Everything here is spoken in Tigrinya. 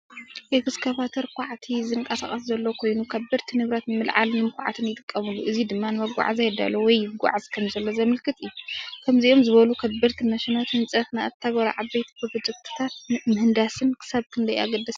ኤክስካቫተር ኳዕቲ ዝንቀሳቐስ ዘሎ ኮይኑ ከበድቲ ንብረት ንምልዓልን ንምኹዓትን ይጥቀመሉ። እዚ ድማ ንመጓዓዝያ ይዳሎ ወይ ይጉዓዝ ከምዘሎ ዘመልክት እዩ። ከምዚኦም ዝበሉ ከበድቲ ማሽናት ህንፀት ንኣተገባብራ ዓበይቲ ፕሮጀክትታት ምህንድስና ክሳብ ክንደይ ኣገደስቲ እዮም?